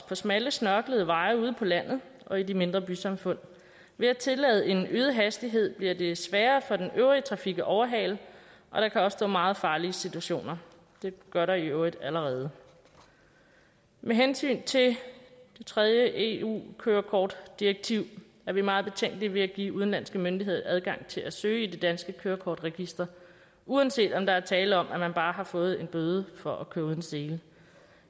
på smalle snørklede veje ude på landet og i de mindre bysamfund ved at tillade en øget hastighed bliver det sværere for den øvrige trafik at overhale og der kan opstå meget farlige situationer det gør der i øvrigt allerede med hensyn til det tredje eu kørekortdirektiv er vi meget betænkelige ved at give udenlandske myndigheder adgang til at søge i det danske kørekortregister uanset om der er tale om at man bare har fået en bøde for at køre uden sele